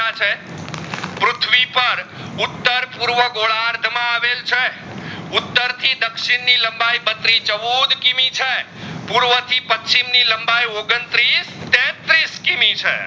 ઉત્તર પૂર્વા ગોદાર્થ માં આવેલ છે ઉત્તર થી દક્ષિણ ની લંબાઈ બત્રીચૌદ કિમી છે. પૂર્વા થી પશ્ચિમ ની લંબાઈ ઓગણત્રીસ થી ત્રીસ કિમી છે